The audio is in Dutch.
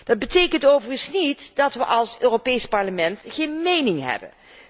Dat betekent overigens niet dat wij als Europees Parlement geen mening hebben.